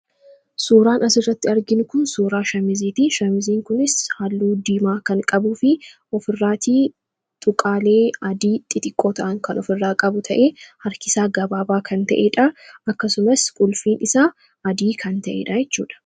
suuraan asirratti arginu kun suuraa shamiziiti shamiziin kunis halluu diimaa kan qabuu fi of irraatii tuqaalee adii xixiqqoo ta'an kan of irraa qabu ta'ee harkisaa gabaabaa kan ta'eedha akkasumas qulfiin isaa adii kan ta'ee dha jechuudha